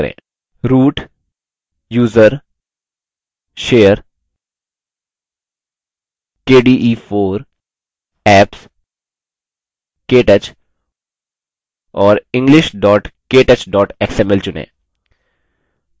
root> usr> share> kde4> apps> ktouch और english ktouch xml चुनें